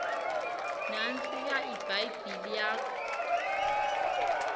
nantsiya ibhayibhile yakho